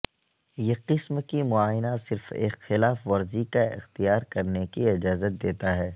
یہ قسم کی معائنہ صرف ایک خلاف ورزی کا اختیار کرنے کی اجازت دیتا ہے